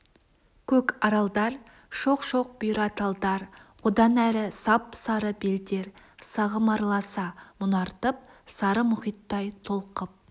көк аралдар шоқ-шоқ бұйра талдар одан әрі сап-сары белдер сағым араласа мұнартып сары мұхиттай толқып